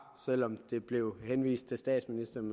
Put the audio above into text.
selv om der blev henvist til statsministeren